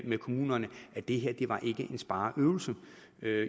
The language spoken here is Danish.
med kommunerne at det her ikke var en spareøvelse